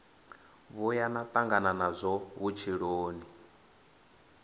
vhuya na tangana nazwo vhutshiloni